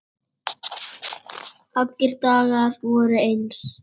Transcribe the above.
Allir dagar voru eins.